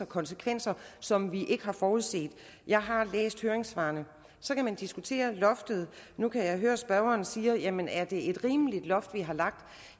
konsekvenser som vi ikke har forudset jeg har læst høringssvarene så kan man diskutere loftet nu kan jeg høre at spørgeren siger jamen er det et rimeligt loft vi har lagt